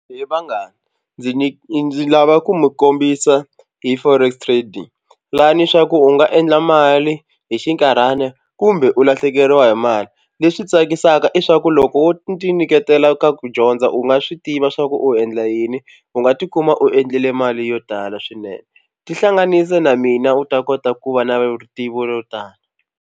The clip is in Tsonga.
He vanghani ndzi ni ndzi lava ku mi kombisa hi forex trading lani swa ku u nga endla mali hi xinkarhana kumbe u lahlekeriwa hi mali. Leswi tsakisaka i swa ku loko wo tinyiketela ka ku dyondza u nga swi tiva swa ku u endla yini u nga tikuma u endlile mali yo tala swinene tihlanganise na mina u ta kota ku va na vutivi ro tala.